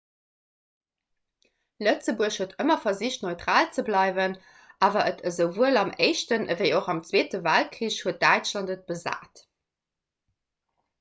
lëtzebuerg huet ëmmer versicht neutral ze bleiwen awer et esouwuel am éischten ewéi och am zweete weltkrich huet däitschland et besat